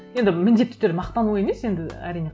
енді міндетті түрде мақтану емес енді әрине